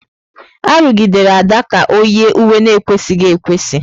Arụgidela Ada ka ọ yie uwe na-ekwesịghị ekwesị!